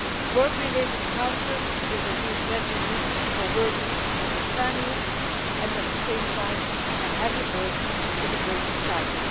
Work-related cancer is a real tragedy for workers and their families, and is at the same time a heavy burden for the whole of society.